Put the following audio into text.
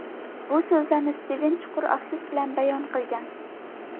Bu so‘zlarni Stiven chuqur afsus bilan bayon qilgan.